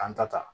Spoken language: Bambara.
K'an ta ta